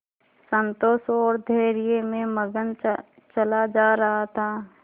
संतोष और धैर्य में मगन चला जा रहा था